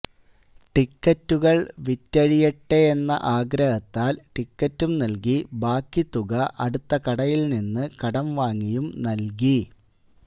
ടിക്കറ്റുകൾ വിറ്റഴിയട്ടെയെന്ന ആഗ്രഹത്താൽ ടിക്കറ്റും നൽകി ബാക്കി തുക അടുത്തകടയിൽനിന്ന് കടംവാങ്ങിയും നൽകി